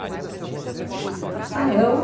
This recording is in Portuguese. Sonha da sua vida? Ah, eu